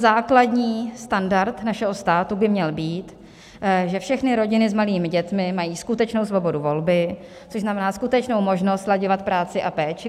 Základní standard našeho státu by měl být, že všechny rodiny s malými dětmi mají skutečnou svobodu volby, což znamená skutečnou možnost slaďovat práci a péči.